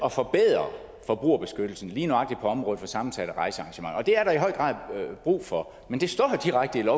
at forbedre forbrugerbeskyttelsen lige nøjagtig på området for sammensatte rejsearrangementer og det er der i høj grad brug for men det står direkte